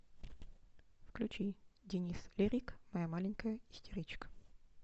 включи денис лирик моя маленькая истеричка